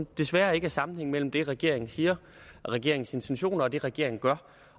desværre ikke er sammenhæng mellem det regeringen siger regeringens intentioner og det regeringen gør